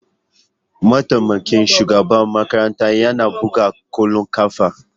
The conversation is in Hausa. Mataimakin shugaban makarantar yana buga kwallon kafa.